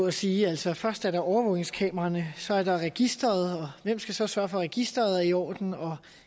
at sige altså først er der overvågningskameraerne så er der registeret og hvem skal så sørge for at registeret er i orden og